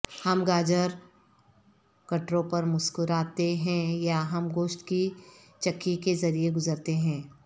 ہم گاجر گٹروں پر مسکراتے ہیں یا ہم گوشت کی چکی کے ذریعے گزرتے ہیں